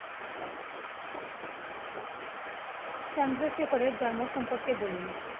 চন্দ্রশেখরের জন্ম সম্পর্কে বলুন?